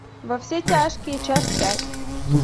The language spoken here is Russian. во все тяжкие часть пять